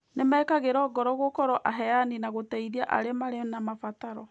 Nĩ mekagĩrũo ngoro gũkorwo aheani na gũteithia arĩa marĩ na mabataro.